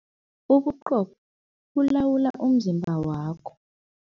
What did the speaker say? Ubuqopho bulawula umzimba wakho.